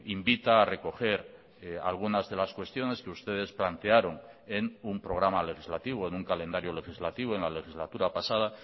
invita a recoger algunas de las cuestiones que ustedes plantearon en un programa legislativo en un calendario legislativo en la legislatura pasada